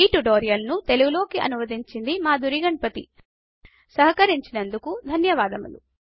ఈ ట్యుటోరియల్ ను తెలుగు లోకి అనువదించింది మాధురి గణపతి సహకరించినందుకు ధన్యవాదములు